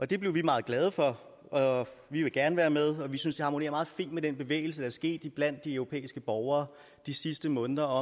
det blev vi meget glade for og vi vil gerne være med vi synes det harmonerer meget fint med den bevægelse der er sket iblandt de europæiske borgere de sidste måneder